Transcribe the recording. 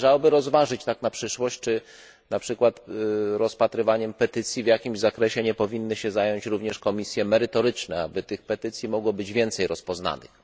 I należałoby rozważyć tak na przyszłość, czy na przykład rozpatrywaniem petycji w jakimś zakresie nie powinny się zająć również komisje merytoryczne, aby tych petycji mogło być więcej rozpoznanych.